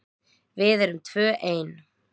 Við erum tvö ein.